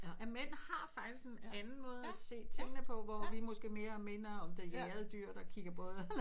At mænd har faktisk en anden måde at se tingene på hvor vi måske minder mere om det jagede dyr der kigger både